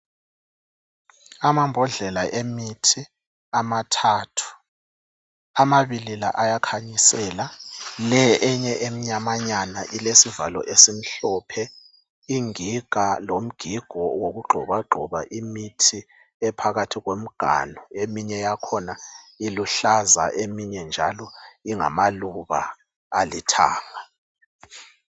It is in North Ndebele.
Amambodlela emithi amathathu. Amabili lawa ayakhanyisela. Le eyinye emnyamanyana ilesivalo esimhlophe. Ingiga lomgigo wokugxobagxoba imithi ephakathi komganu. Eminye yakhona iluhlaza eminye njalo ingamaluba alithanga